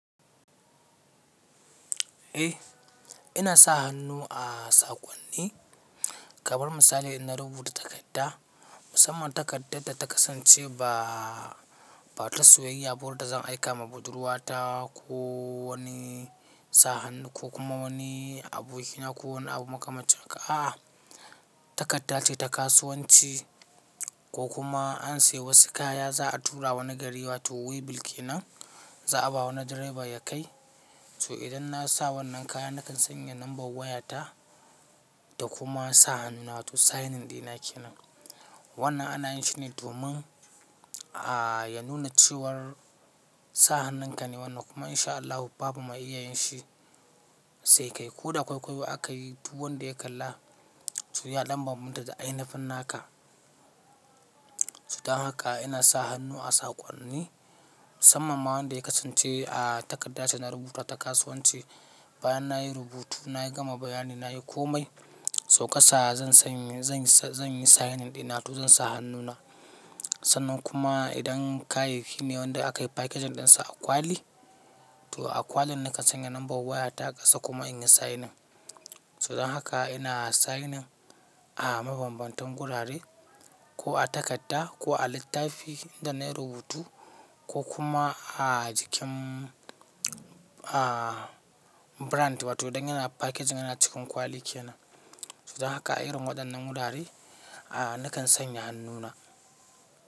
Eh ina sa hannu a saƙonni, kamar misali ina rubuta takarda, musamman takardar da ta kasance ba, ba ta soyayya ba wadda zan aika ma budurwa ta ko wani sa hannu ko kuma wani abu ina ko wani abu makamancin haka. A'a takarda ce ta kasuwanci ko kuma an sayi wasu kaya za a tura wani gari wato wheel baki nan za a ba wani direba ya kai. So idan na sa wannan kaya nakan sanya lambar waya ta da kuma sa hannuna wato signing ɗina kenan. Wannan ana yin shi ne domin a ya nuna cewar sa hannun ka ne wannan kuma in sha Allahu babu ma iyayen shi sai kai ko da kwaikwaiwa aka yi duk wanda ya kalla. So ya ɗa bambanta da ainifin naka. So don haka ina sa hannu a saƙonni musamman ma wanda ya kasance a takarda ce na rubuta ta kasuwanci. Bayan na yi rubutu na yi gama bayani na yi komai. So ka sa zan sanya zan yi signing ɗina wato zan sa hannuna. Sannan kuma idan kayayyaki ne wanda aka yi packaging ɗinsa a kwali, to a kwalin nakan sanya lambar waya ta ƙasa kuma in yi signing. So don haka ina signing a mabambantan gurare ko a takarda ko a littafi inda na yi rubutu ko kuma a jikin a brand wato idan yana packaging yana cikin kwali kenan. So don haka irin waɗannan gurare a nakan sanya hannuna.